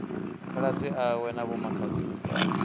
khaladzi awe na vhomakhadzi wa